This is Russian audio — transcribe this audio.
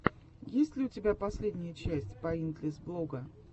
есть ли у тебя последняя часть поинтлесс блога